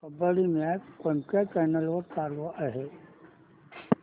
kabaddi match कोणत्या channel वर चालू आहे